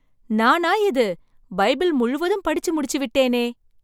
நானா இது பைபிள் முழுவதும் படிச்சு முடிச்சு விட்டேனே!